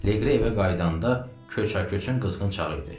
Leqri evə qayıdanda köçə-köçün qızğın çağı idi.